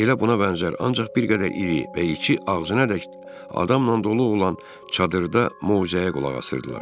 Elə buna bənzər ancaq bir qədər iri və içi ağzınadək adamla dolu olan çadırda möcüzəyə qulaq asırdılar.